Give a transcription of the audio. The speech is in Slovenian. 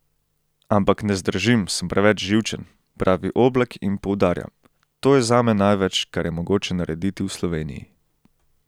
Ampak ne zdržim, sem preveč živčen," pravi Oblak in poudarja: "To je zame največ, kar je mogoče narediti v Sloveniji.